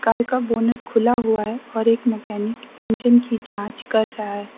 Car का bonnet खुला हुआ है और एक मैकेनिक इंजन की जांच कर रहा है।